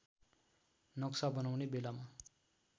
नक्सा बनाउने बेलामा